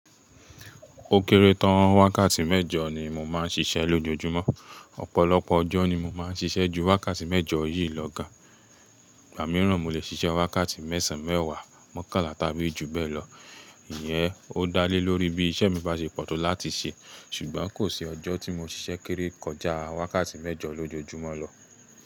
Ó kéré tán wákàtí mẹ́jọ ni mo máa ń ṣiṣẹ́ lójoojúmọ́. Ọ̀pọ̀lọpọ̀ ọjọ́ ni mo máa ń ṣiṣẹ́ ju wákàtí mẹ́jọ yìí lọ gán. Ìgbà mìíràn, mo lè ṣiṣẹ́ wákàtí mẹ́sàn-án, mẹ́wàá, mọ́kànlá tàbí jù bẹ́ẹ̀ lọ. Ìyẹn ó dá lé lórí bí iṣẹ́ mi bá ṣe pọ̀ tó láti ṣe. Ṣùgbọ́n kò sí ọjọ́ tí mo ṣiṣẹ́ kéré kọjá wákàtí mẹ́jọ lójoojúmọ́ lọ.